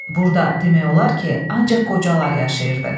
Burda demək olar ki, ancaq qocalar yaşayırdı.